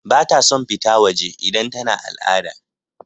Bata son fita waje idan tana al'ada.